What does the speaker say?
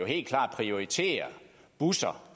helt klart prioriterer busserne